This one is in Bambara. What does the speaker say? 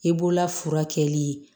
I bolola furakɛli